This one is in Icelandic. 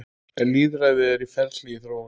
Lýðræði er ferli í þróun.